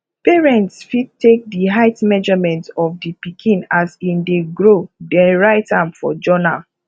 parents fit take di height measurement of di pikin as im dey grow then write am for journal